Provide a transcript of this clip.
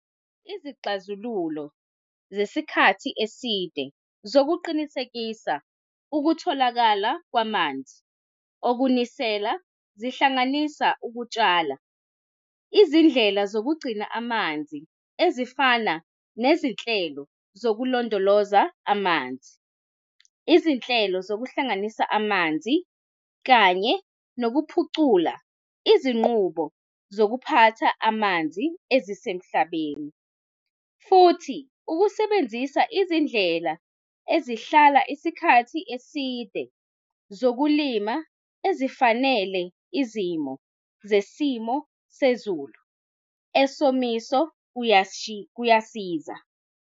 Izixazululo zesikhathi eside zokuqinisekisa ukutholakala kwamanzi okunisela, zihlanganisa ukutshala, izindlela zokugcina amanzi, ezifana nezinhlelo zokulondoloza amanzi, izinhlelo zokuhlanganisa amanzi, kanye nokuphucula izinqubo zokuphatha amanzi ezisemhlabeni. Futhi, ukusebenzisa izindlela ezihlala isikhathi eside zokulima ezifanele izimo zesimo sezulu esomiso kuyasiza.